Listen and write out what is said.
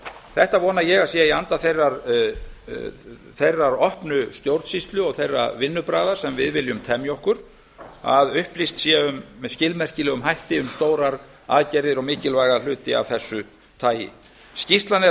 þetta vona ég að sé í anda þeirrar opnu stjórnsýslu og þeirra vinnubragða sem við viljum temja okkur að upplýst sé með skilmerkilegum hætti um stórar aðgerðir og mikilvæga hluti af þessu tagi skýrslan er að